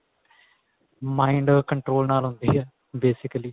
mind control ਨਾਲ ਹੁੰਦੀ ਏ basically